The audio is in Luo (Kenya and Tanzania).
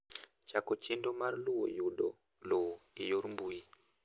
chako chenro mar luwo yudo lowo e yor mbui